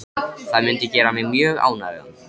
Það mundi gera mig mjög ánægða.